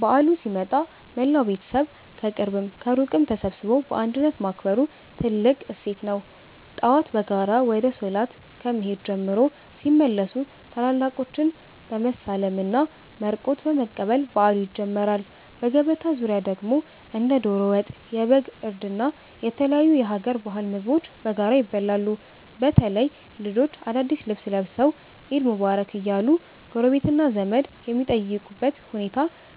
በዓሉ ሲመጣ መላው ቤተሰብ ከቅርብም ከሩቅም ተሰባስቦ በአንድነት ማክበሩ ትልቁ እሴት ነው። ጠዋት በጋራ ወደ ሶላት ከመሄድ ጀምሮ፣ ሲመለሱም ታላላቆችን በመሳለምና መርቆት በመቀበል በዓሉ ይጀምራል። በገበታ ዙሪያ ደግሞ እንደ ዶሮ ወጥ፣ የበግ እርድ እና የተለያዩ የሀገር ባህል ምግቦች በጋራ ይበላሉ። በተለይ ልጆች አዳዲስ ልብስ ለብሰው "ዒድ ሙባረክ" እያሉ ጎረቤትና ዘመድ የሚጠይቁበት ሁኔታ